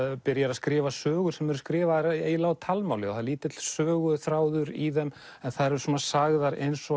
byrjar að skrifa sögur sem eru skrifaðar eiginlega á talmáli það er lítill söguþráður í þeim en þær eru sagðar eins og